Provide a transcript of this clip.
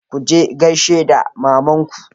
ku je gaishe da mamanku!